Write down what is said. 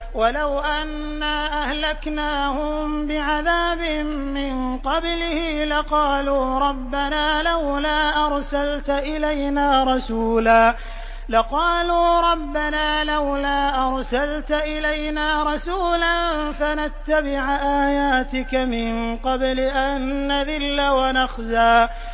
وَلَوْ أَنَّا أَهْلَكْنَاهُم بِعَذَابٍ مِّن قَبْلِهِ لَقَالُوا رَبَّنَا لَوْلَا أَرْسَلْتَ إِلَيْنَا رَسُولًا فَنَتَّبِعَ آيَاتِكَ مِن قَبْلِ أَن نَّذِلَّ وَنَخْزَىٰ